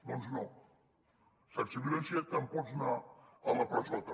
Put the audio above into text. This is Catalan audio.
doncs no sense violència te’n pots anar a la presó també